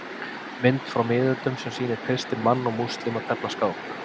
Mynd frá miðöldum sem sýnir kristinn mann og múslíma tefla skák.